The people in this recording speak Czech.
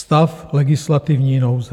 Stav legislativní nouze.